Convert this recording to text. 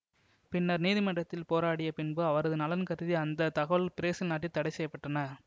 பின்னர் நீதிமன்றத்தில் போராடிய பின்பு அவரது நலன் கருதி அந்த தகவல்கள் பிரேசில் நாட்டில் தடை செய்ய பட்டன